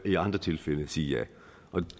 i andre tilfælde sige ja